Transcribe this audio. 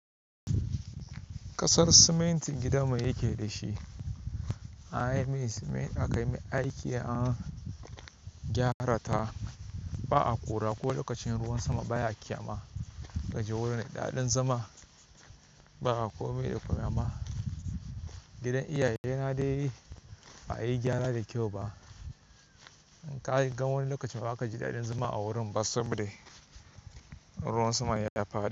Kasar siminti gidan mu yake da shi. Anyi mai siminti aka yi aiki l, an gyara ta. Ba a ƙura ko lokacin ruwan sama baya ƙyama. Gaji wurin da ɗaɗin zama ba a komai da komai amma. Gidan iyaye na dai ba a yi gyara da kyau ba. In kaga wani lokacin ba ka ji daɗin zama a wurin ba saboda ruwan sama ya faɗi.